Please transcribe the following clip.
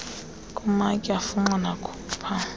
kumatye afunxa nakhupha